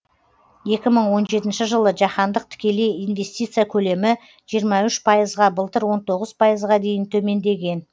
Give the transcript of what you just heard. екі мың он жетінші жылы жаһандық тікелей инвестиция көлемі жиырма үш пайызға былтыр он тоғыз пайызға дейін төмендеген